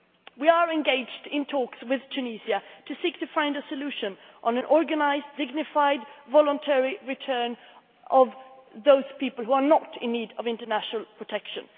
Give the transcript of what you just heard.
We are engaged in talks with Tunisia to seek a solution on an organised, dignified, voluntary return of those people who are not in need of international protection.